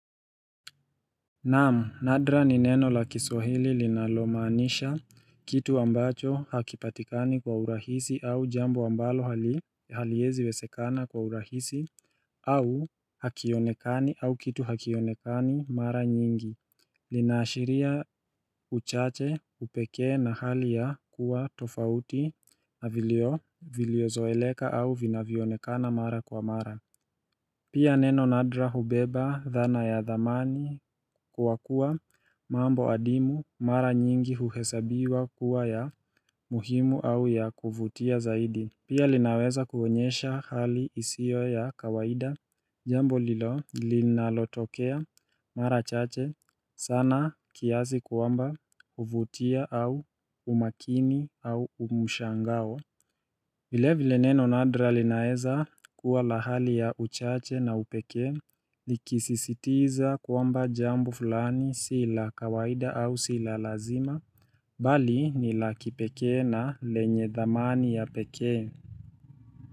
Naam, nadra ni neno la kiswahili linalomaanisha kitu ambacho hakipatikani kwa urahisi au jambo ambalo haliwezi wezekana kwa urahisi au kitu hakionekani mara nyingi, linaashiria uchache upekee na hali ya kuwa tofauti na vilivyo zoeleka au vinavyo onekana mara kwa mara Pia neno nadra hubeba dhana ya thamani kwa kuwa mambo ya dini mara nyingi huhesabiwa kuwa ya muhimu au ya kuvutia zaidi. Pia linaweza kuonyesha hali isio ya kawaida, jambo linalotokea mara chache sana kiasi kwamba huvutia au umakini au umshangao. Vilevile neno nadra linaweza kuwa la hali ya uchache na upekee Likisisitiza kwamba jambo fulani sio la kawaida au sio la lazima Bali ni la kipekee na lenye thamani ya pekee.